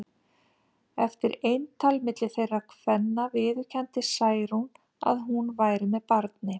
Eftir eintal milli þeirra kvenna viðurkenndi Særún að hún væri með barni.